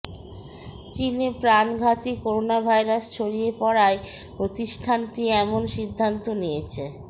চীনে প্রাণঘাতী করোনাভাইরাস ছড়িয়ে পড়ায় প্রতিষ্ঠানটি এমন সিদ্ধান্ত নিয়েছে